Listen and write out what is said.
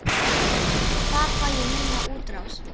Þar fæ ég mína útrás.